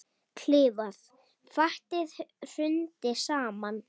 Fatið hrundi saman.